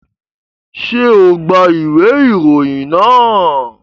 Ṣe o gba iwe iroyin naa?